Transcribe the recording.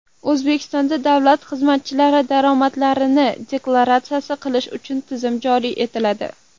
O‘zbekistonda davlat xizmatchilari daromadlarini deklaratsiya qilish tizimi joriy etiladi.